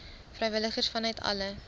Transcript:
vrywilligers vanuit alle